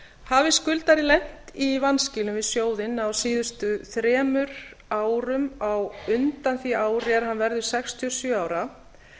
hafi skuldari lent í vanskilum við sjóðinn á síðustu þremur almanaksárum á undan því ári er hann verður sextíu og sjö ára